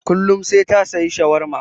Kullum sai ta saya shawarma.